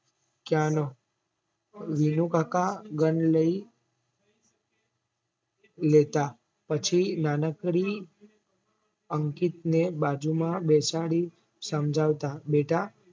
ત્યાં ન વિનુ કાકા ગન લઈ લેતા પછી નાનકડી અંકિતને બાજુમાં બેસાડી સમજાવતા બેટા